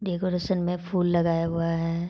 Decoration में फूल लगाया हुआ है।